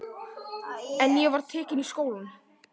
En ég var tekin í skólann.